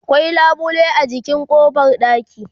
akwai labule a jikin ƙofar ɗaki